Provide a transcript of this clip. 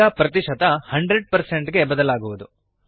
ಈ ಪ್ರತಿಶತ 100 ಗೆ ಬದಲಾಗುವುದು